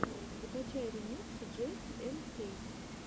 закачай ремиксы джейси энд кэйси